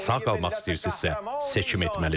Sağ qalmaq istəyirsinizsə, seçim etməlisiniz.